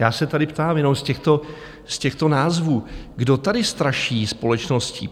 Já se tady ptám, jenom z těchto názvů, kdo tady straší společnost?